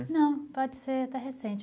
Não, pode ser até recente.